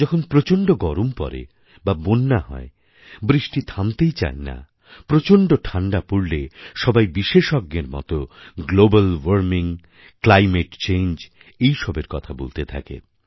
যখন প্রচণ্ড গরম পরে বা বন্যা হয় বৃষ্টি থামতেই চায় না প্রচণ্ড ঠাণ্ডা পড়লে সবাই বিশেষজ্ঞর মতো গ্লোবাল ওয়ার্মিং ক্লাইমেট চেঞ্জ এসবের কথা বলতে থাকে